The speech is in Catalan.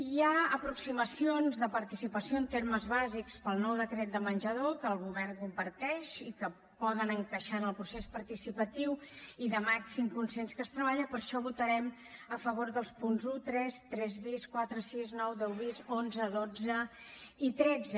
hi ha aproximacions de participació en termes bàsics per al nou decret de menjador que el govern comparteix i que poden encaixar en el procés participatiu i de màxim consens que es treballa per això votarem a favor dels punts un tres tres bis quatre sis nou deu bis onze dotze i tretze